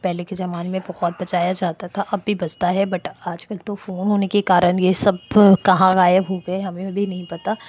पहले के जमाने में भोत बजाया जाता था अब भी बजता है बट आजकल तो फ़ोन होने के कारण ये सब कहाँ गायब हो गए हमें भी नहीं पता।